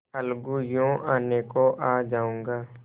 अलगूयों आने को आ जाऊँगा